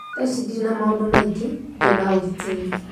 Tha ici ndirĩ na maũndũmaingĩ, ndĩna ũgitĩri